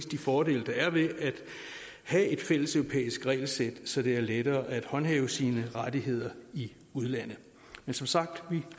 de fordele der er ved at have et fælles europæisk regelsæt så det er lettere at håndhæve sine rettigheder i udlandet men som sagt vi